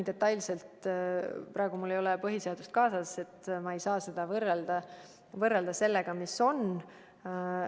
Praegu mul ei ole põhiseadust kaasas ja ma detailselt ei saa vaadata, mis seal kirjas on.